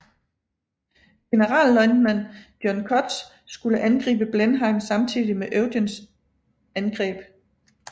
Generalløjtnant John Cutts skulle angribe Blenheim samtidig med Eugens angreb